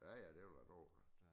Ja ja det kan du da tro da